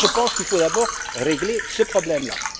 Moi, je pense qu'il faut d'abord régler ce problème là.